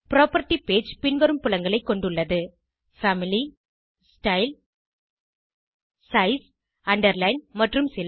property page பின்வரும் புலங்களைக் கொண்டுள்ளது பாமிலி ஸ்டைல் சைஸ் அண்டர்லைன் மற்றும் சில